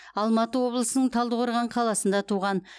алматы облысының талдықорған қаласында туған